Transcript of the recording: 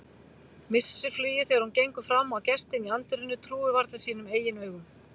Missir flugið þegar hún gengur fram á gestinn í anddyrinu, trúir varla sínum eigin augum.